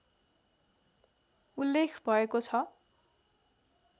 उल्लेख भएको छ